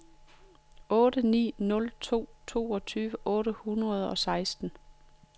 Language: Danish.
otte ni nul to toogtyve otte hundrede og seksten